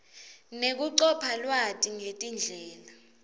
nekucopha lwati ngetindlela